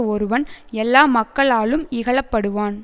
ஒருவன் எல்லா மக்களாலும் இகழ படுவான்